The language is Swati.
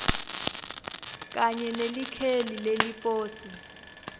kanye nelikheli leliposi